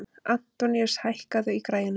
Antoníus, hækkaðu í græjunum.